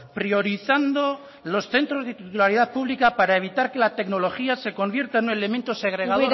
priorizando los centros de titularidad pública para evitar que la tecnología se convierta en un elemento segregador